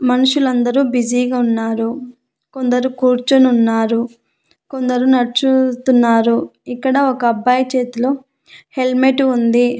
మనుషులందరూ బిజీగా ఉన్నారు కొందరు కూర్చొనున్నారు కొందరు నడుచుతున్నారు ఇక్కడ ఒక అబ్బాయి చేతిలో హెల్మెటు ఉంది.